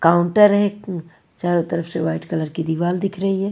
Counter है चारों तरफ से वाइट कलर की दीवार दिख रही है।